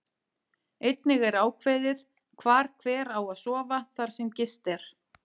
Einnig er ákveðið hvar hver á að sofa þar sem gist er.